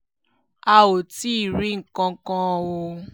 a ò tí ì rí nǹkan kan o